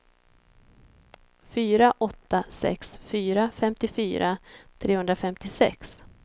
fyra åtta sex fyra femtiofyra trehundrafemtiosex